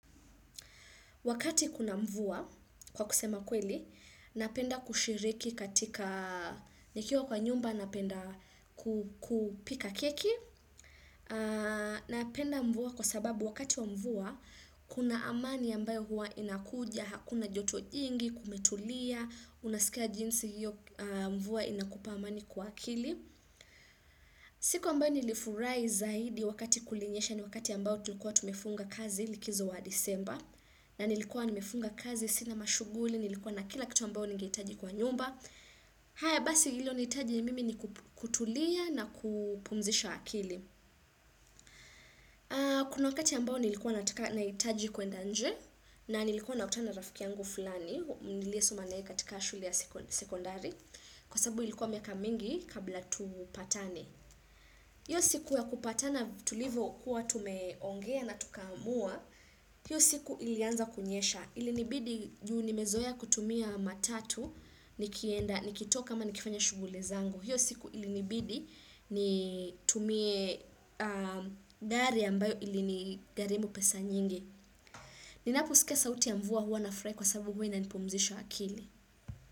Wakati kuna mvua, kwa kusema kweli, napenda kushiriki katika nikiwa kwa nyumba, napenda kupika keki. Napenda mvua kwa sababu wakati wa mvua, kuna amani ambayo hua inakuja, hakuna joto jingi, kumetulia, unasikia jinsi hiyo mvua inakupa amani kwa kili. Siku ambayo nilifurai zaidi wakati kulinyesha ni wakati ambayo tulikuwa tumefunga kazi likizo wa disemba. Na nilikuwa nimefunga kazi, sina mashuguli, nilikuwa na kila kitu ambao nige itaji kwa nyumba haya basi ilo nitaji ya mimi ni kutulia na kupumzisha akili Kuna wakati ambao nilikuwa nataka naitaji kwenda nje na nilikuwa na utana rafikiangu fulani Nilie soma nae katika shule ya sekondari Kwa sababu ilikuwa miaka mingi kabla tupatane hiyo siku ya kupatana tulivo kuwa tumeongea na tukamua hiyo siku ilianza kunyesha ilinibidi juu nimezoya kutumia matatu nikienda nikitoka ama nikifanya shuguli zangu hiyo siku ilinibidi ni tumie gari ambayo ilinigarimu pesa nyingi ninaposkia sauti ya mvua huwa na furahi kwa sababu huwa inanipumzisha akili.